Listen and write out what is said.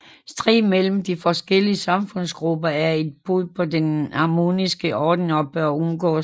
Strid mellem de forskellige samfundsgrupper er et brud på den harmoniske orden og bør undgås